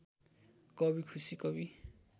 कभी खुशी कभी